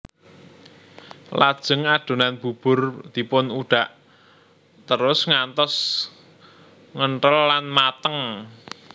Lajeng adonan bubur dipun udhak terus ngantos ngenthel lan mateng